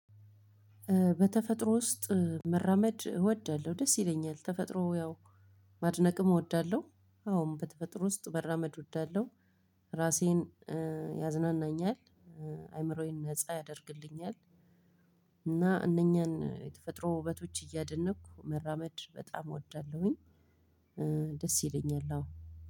በተፈጥሮ ውስጥ መራመድ እወዳለሁ ደስ ይለኛል። ተፈጥሮ ያው ማድነቅም እወዳለሁ። አሁን በተፈጥሮ ውስጥ መራመድ እወዳለሁ። ራሴን ያዝናናኛል አይምሮዬን ነፃ ያደርግልኛል። እና እነኛን የተፈጥሮ ውበቶች እያደነኩ መራመድ በጣም እወዳለሁኝ። ደስ ይለኛል አው